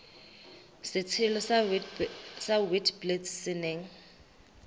setshelo sa witblits se neng